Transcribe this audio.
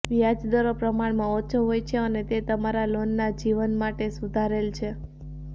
વ્યાજ દરો પ્રમાણમાં ઓછો હોય છે અને તે તમારા લોનના જીવન માટે સુધારેલ છે